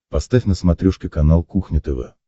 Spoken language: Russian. поставь на смотрешке канал кухня тв